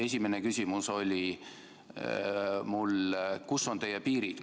Esimene küsimus oli mul selline: kus on teie piirid?